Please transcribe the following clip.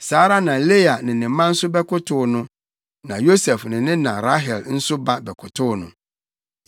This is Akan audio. Saa ara na Lea ne ne mma nso bɛkotow no. Na Yosef ne ne na Rahel nso ba bɛkotow no.